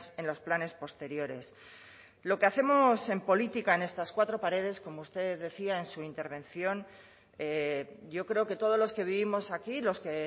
en los planes posteriores lo que hacemos en política en estas cuatro paredes como usted decía en su intervención yo creo que todos los que vivimos aquí los que